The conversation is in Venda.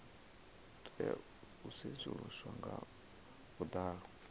tea u sedzuluswa nga vhuḓalo